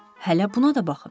Hələ buna da baxın.